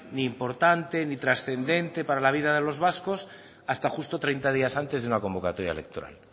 ni importante ni transcendente para la vida de los vascos hasta justo treinta días antes de una convocatoria electoral